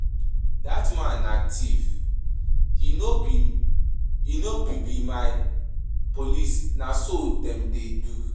Dat man na thief, he no be be any policeman. Na so dem dey do?